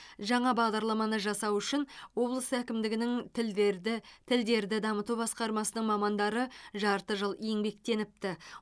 жаңа бағадарламаны жасау үшін облыс әкімдігінің тілдерді тілдерді дамыту басқармасының мамандары жарты жыл еңбектеніпті